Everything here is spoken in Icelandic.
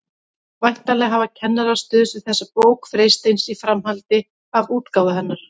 Væntanlega hafa kennarar stuðst við þessa bók Freysteins í framhaldi af útgáfu hennar.